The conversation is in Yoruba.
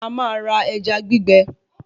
A máa ra ẹja gbígbẹ